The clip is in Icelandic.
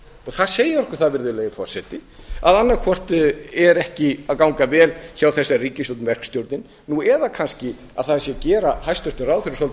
það segir okkur það virðulegi forseti að annað hvort er ekki að ganga vel hjá þessari ríkisstjórn verkstjórnin eða kannski að það sé að gera hæstvirtum ráðherrum svolítið